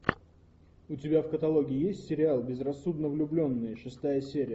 у тебя в каталоге есть сериал безрассудно влюбленные шестая серия